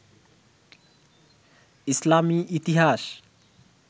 ইসলামী ইতিহাস